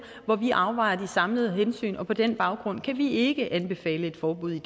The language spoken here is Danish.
hvor vi afvejer de samlede hensyn og på den baggrund kan vi ikke anbefale et forbud